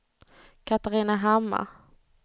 Katarina Hammar